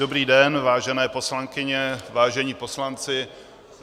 Dobrý den, vážené poslankyně, vážení poslanci.